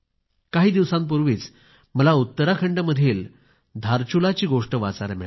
काही दिवसांपूर्वी मला उत्तराखंडमधील धारचुला ची गोष्ट वाचायला मिळाली